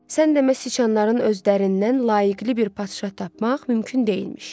Sən demə, siçanların özlərindən layiqli bir padşah tapmaq mümkün deyilmiş.